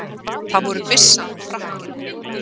Það voru byssan og frakkinn.